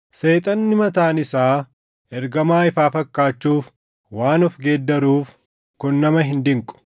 Seexanni mataan isaa ergamaa ifaa fakkaachuuf waan of geeddaruuf kun nama hin dinqu.